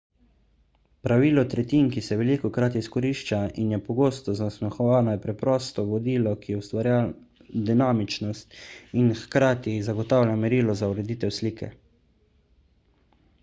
pravilo tretjin ki se velikokrat izkorišča in je pogosto zasmehovano je preprosto vodilo ki ustvarja dinamičnost in hkrati zagotavlja merilo za ureditev slike